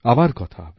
আবার কথা হবে